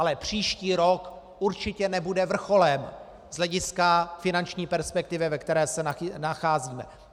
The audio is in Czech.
Ale příští rok určitě nebude vrcholem z hlediska finanční perspektivy, ve které se nacházíme.